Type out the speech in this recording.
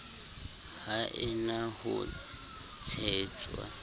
ha e na ho tshetswa